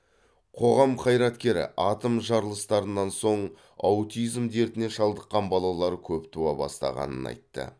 қоғам қайраткері атом жарылыстарынан соң аутизм дертіне шалдыққан балалар көп туа бастағанын айтты